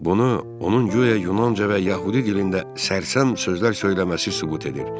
Bunu onun guya Yunanca və Yəhudi dilində sərsəm sözlər söyləməsi sübut edir.